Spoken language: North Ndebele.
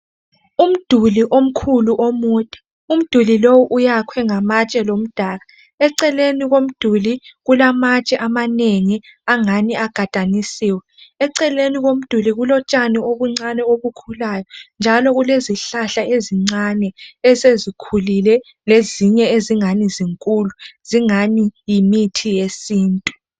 Umduli omkhulu omude .Umduli lowu uyakhwe ngamatshe lomdaka .Ecelen komduli kulamtshe. amanengi angani agadanisiwe . Eceleni komduli kulotshani obuncane obukhulayo njalo kulezihlahla ezincane ,esezikhulile lezinye ezingani zinkulu zingani yimithi yesintu.